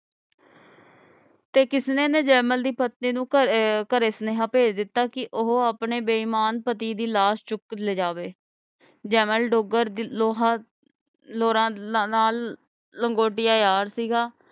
ਤੇ ਕਿਸਨੇ ਨੇ ਜੈਮਲ ਦੀ ਪਤਨੀ ਨੂੰ ਘਰੇ ਅਹ ਘਰੇ ਸਨੇਹਾ ਭੇਜ ਦਿਤਾ ਕਿ ਉਹ ਆਪਣੇ ਬੇਈਮਾਨ ਪਤਿ ਦੀ ਲਾਸ਼ ਚੁਕ ਲੈ ਜਾਵੇ ਜੈਮਲ ਡੋਗਰ ਲੋਹਰਾ ਲੋਹਰਾ ਨਾਲ ਲੰਗੋਟੀਆਂ ਯਾਰ ਸੀਗਾ